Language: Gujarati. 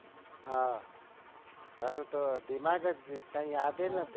હા તારું તો દિમાગ ગયું છે કઈ યાદ નથી.